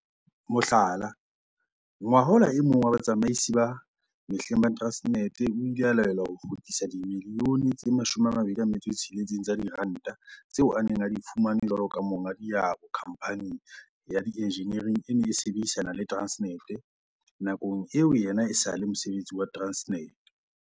Mohlala, ngwahola e mong wa batsamaisi ba mehleng ba Transnet o ile a laelwa ho kgutlisa dimilione tse 26 tsa diranta tseo a neng a di fumane jwalo ka monga diabo khamphaneng ya dienjiniere e neng e sebedisana le Transnet nakong eo yena e sa leng mosebeletsi wa Transnet.